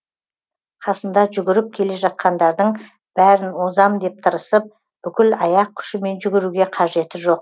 қасында жүгіріп келе жатқандардың бәрін озам деп тырысып бүкіл аяқ күшімен жүгіруге қажеті жоқ